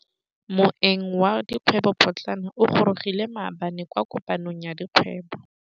Moêng wa dikgwêbô pôtlana o gorogile maabane kwa kopanong ya dikgwêbô.